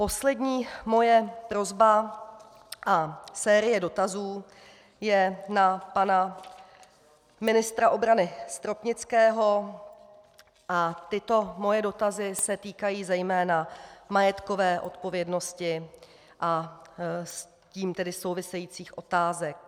Poslední moje prosba a série dotazů je na pana ministra obrany Stropnického a tyto moje dotazy se týkají zejména majetkové odpovědnosti a s tím tedy souvisejících otázek.